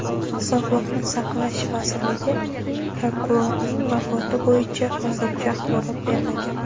Sog‘liqni saqlash vazirligi prokurorning vafoti bo‘yicha hozircha axborot bermagan.